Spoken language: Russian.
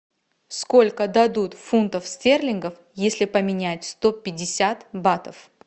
сколько дадут фунтов стерлингов если поменять сто пятьдесят батов